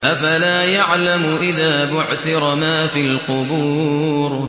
۞ أَفَلَا يَعْلَمُ إِذَا بُعْثِرَ مَا فِي الْقُبُورِ